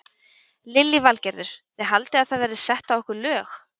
Lillý Valgerður: Þið haldið að það verði sett á ykkur lög?